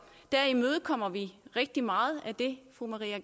der imødekommer vi rigtig meget af det fru maria